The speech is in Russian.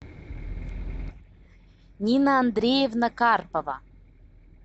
нина андреевна карпова